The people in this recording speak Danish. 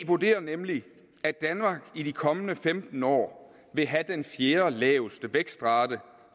vurderer nemlig at danmark i de kommende femten år vil have den fjerdelaveste vækstrate